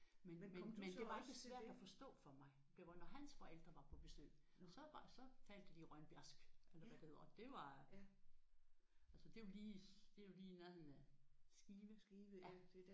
Men men det var ikke svært at forstå for mig. Det var når hans forældre var på besøg så var så talte de Rønbjergsk eller hvad det hedder. Det var altså det er jo det er lige i nærheden af Skive